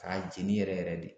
K'a jeni yɛrɛ yɛrɛ de